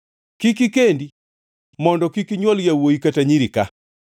“Kik ikendi mondo kik inywol yawuowi kata nyiri ka.”